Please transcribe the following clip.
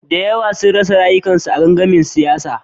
Da yawa sun rasa rayukansu a gangamin siyasa.